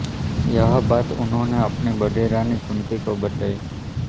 यह बात उन्होंने अपनी बड़ी रानी कुन्ती को बताई